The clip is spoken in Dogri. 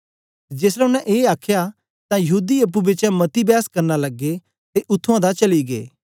जेसलै ओसने ए आखया तां यहूदी अप्पुं बिचें मती बैस करना लगे ते उत्त्थुआं दा चली गै